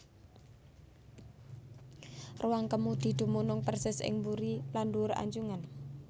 Ruwang kemudi dumunung persis ing buri lan ndhuwur anjungan